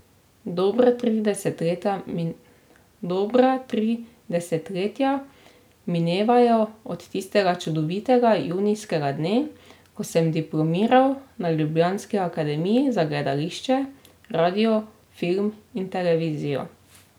Dobra tri desetletja minevajo od tistega čudovitega junijskega dne, ko sem diplomiral na ljubljanski akademiji za gledališče, radio, film in televizijo.